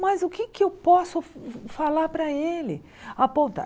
Mas o que eu posso fa falar para ele, apontar?